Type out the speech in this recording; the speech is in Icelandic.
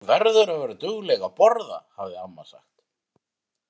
Þú verður að vera dugleg að borða, hafði amma sagt.